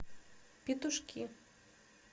петушки